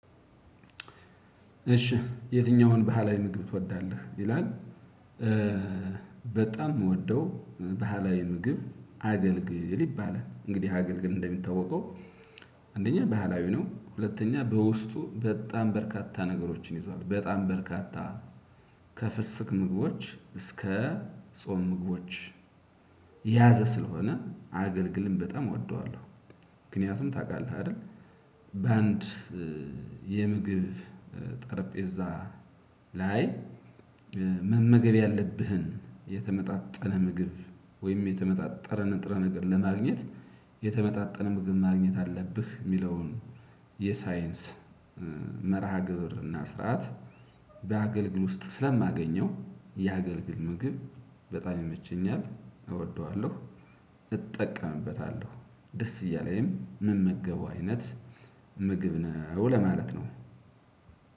እሺ የትኛውን ባህላዊ ምግብ ትወዳለህ ይላል? በጣም የምወደው ባህላዊ ምግብ አገልግል ይባላል። እንግዲህ አገልግል እንደሚታወቀው አንደኛ ባህላዊ ነው። ሁለተኛ በውስጡ በጣም በርካታ ነገሮችን ይዟል። በጣም በርካታ ከፍስክ ምግቦች እስከ ጾም ምግቦች የያዘ ስለሆነ አገልግልም በጣም እወደዋለሁ። ምክንያቱም ታቃለህ አይደል? በአንድ የምግብ ጠረጴዛ ላይ መመገብ ያለብህን የተመጣጠነ ምግብ ወይም የተመጣጠነ ንጥረ ነገር ለማግኘት የተመጣጠነ ምግብ ማግኘት አለብህ የሚለውን የሳይንስ መርሃ ግብር እና ስርዓት በአገልግል ውስጥ ስለማገኘው የአገልግል ምግብ በጣም ይመቸኛት እወደዋለሁ። እጠቀምበታለሁ ደስ እያለኝ ምመገበው አይነት ምግብ ነው ለማለት ነው።